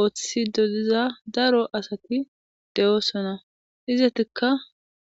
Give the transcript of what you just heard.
ooththiside diza daro asati de'osona izatikka